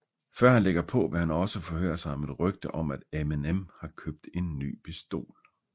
Før han lægger på vil han også forhøre sig om et rygte om at Eminem har købt en ny pistol